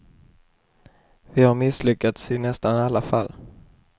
Vi har misslyckats i nästan alla fall.